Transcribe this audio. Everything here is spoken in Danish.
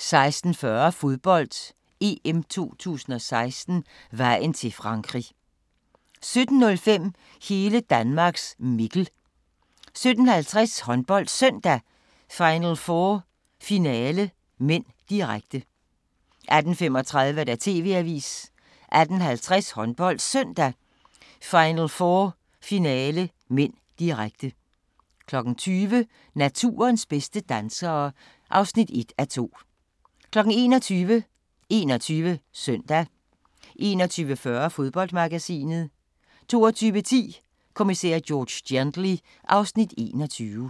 16:40: Fodbold: EM 2016 - vejen til Frankrig 17:05: Hele Danmarks Mikkel 17:50: HåndboldSøndag: Final 4 Finale (m), direkte 18:35: TV-avisen 18:50: HåndboldSøndag: Final 4 Finale (m), direkte 20:00: Naturens bedste dansere (1:2) 21:00: 21 Søndag 21:40: Fodboldmagasinet 22:10: Kommissær George Gently (Afs. 21)